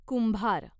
कुंभार